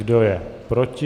Kdo je proti?